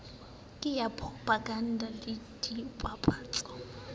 ka ya poropaganda le dipapatso